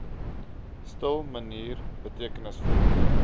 stil manier betekenisvol